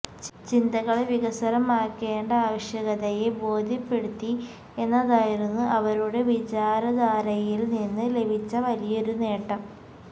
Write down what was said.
ചിന്തകളെ വികസ്വരമാക്കേണ്ട ആവശ്യകതയെ ബോധ്യപ്പെടുത്തി എന്നതായിരുന്നു അവരുടെ വിചാരധാരയില്നിന്ന് ലഭിച്ച വലിയൊരു നേട്ടം